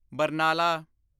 Barnala